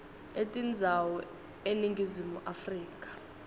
etindzawo eningizimu afrika